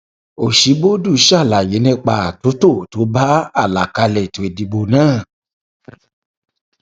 òṣíbódù ṣàlàyé nípa àtúntò tó bá àlàkálẹ ètò ìdìbò náà